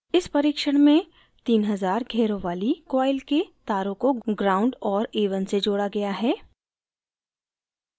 इस परीक्षण में 3000 घेरों वाली coil के तारों को ground gnd और a1 से जोड़ा गया है